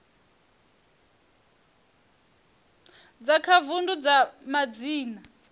dza kha vundu dza madzina